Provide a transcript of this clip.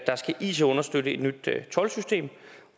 skal it understøtte et nyt toldsystem